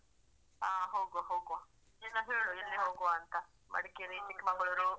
ಹಾ ಹೋಗುವ ಹೋಗುವ ಬೇಗ ಹೇಳು ಎಲ್ಲಿ ಹೋಗುವ ಅಂತ ಮಡಿಕೇರಿ ಚಿಕ್ಮಂಗ್ಳುರ್.